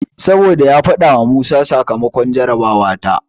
Saboda ya faɗawa Musa sakamakon jarabawa ta.